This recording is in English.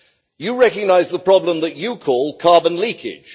You recognised the problem that you call carbon leakage.